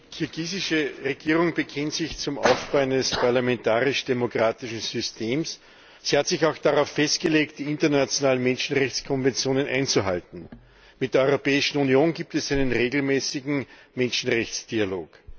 Die kirgisische Regierung bekennt sich zum Aufbau eines parlamentarisch demokratischen Systems. Sie hat sich auch darauf festgelegt, die internationalen Menschenrechtskonventionen einzuhalten. Mit der Europäischen Union gibt es einen regelmäßigen Menschenrechtsdialog.